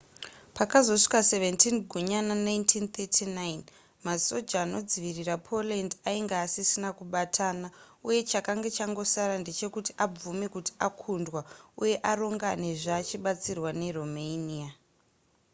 pakazosvika 17 gunyana 1939 masoja anodzivirira poland ainge asisina kubatana uye chakanga changosara ndechekuti abvume kuti akundwa uye aronganezve achibatsirwa neromania